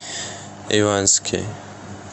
ивански